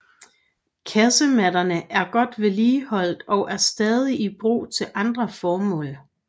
Kasemattene er godt vedligeholdt og er stadig i brug til andre formål